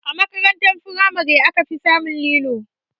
A makaranta firamare aka fi samun lilo